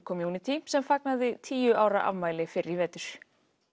community sem fagnaði tíu ára afmæli fyrr í vetur